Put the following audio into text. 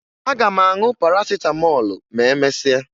Aga m aṅụ Parasịtamọọlụ ma emesịa